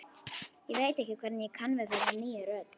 Ég veit ekki hvernig ég kann við þessa nýju rödd.